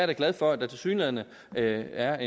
da glad for at der tilsyneladende er